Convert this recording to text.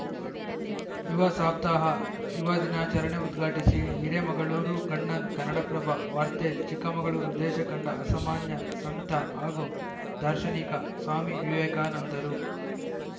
ಯುವ ಸಪ್ತಾಹ ಯುವ ದಿನಾಚರಣೆ ಉದ್ಘಾಟಿಸಿ ಹಿರೇಮಗಳೂರು ಕಣ್ಣನ್‌ ಕನ್ನಡಪ್ರಭ ವಾರ್ತೆ ಚಿಕ್ಕಮಗಳೂರು ದೇಶ ಕಂಡ ಅಸಾಮಾನ್ಯ ಸಂತ ಹಾಗೂ ದಾರ್ಶನಿಕ ಸ್ವಾಮಿ ವಿವೇಕಾನಂದರು